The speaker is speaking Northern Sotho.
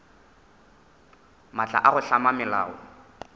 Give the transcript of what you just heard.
maatla a go hlama melao